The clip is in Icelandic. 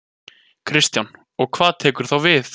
Kristján: Og hvað tekur þá við?